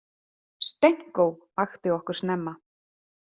Stenko vakti okkur snemma.